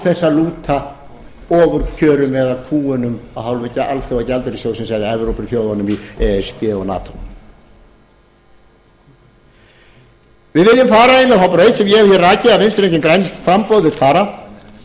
þess að lúta ofurkjörum eða kúgunum af hálfu alþjóðagjaldeyrissjóðsins eða evrópuþjóðunum í e s b og nato við viljum fara inn á þá braut sem ég hef hér rakið og vinstri hreyfingin grænt framboð vill fara